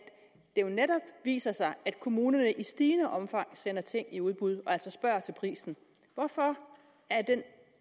jo netop viser sig at kommunerne i stigende omfang sender ting i udbud og altså spørger til prisen hvorfor